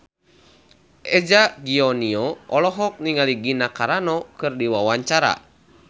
Eza Gionino olohok ningali Gina Carano keur diwawancara